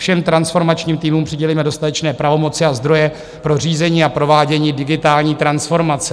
Všem transformačním týmům přidělíme dostatečné pravomoci a zdroje pro řízení a provádění digitální transformace."